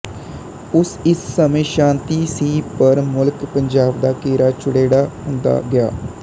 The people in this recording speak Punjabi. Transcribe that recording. ਉਸ ਇਸ ਸਮੇਂ ਸ਼ਾਤੀ ਵੀ ਸੀ ਪਰ ਮੁਲਕ ਪੰਜਾਬ ਦਾ ਘੇਰਾ ਚੌੜੇੜਾ ਹੁੰਦਾ ਗਿਆ